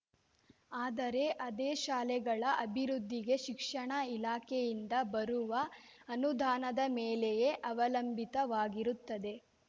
ಆದರೆ ಅದೇ ಶಾಲೆಗಳ ಅಭಿವೃದ್ಧಿಗೆ ಶಿಕ್ಷಣ ಇಲಾಖೆಯಿಂದ ಬರುವ ಅನುದಾನದ ಮೇಲೆಯೇ ಅವಲಂಬಿತವಾಗಿರುತ್ತದೆ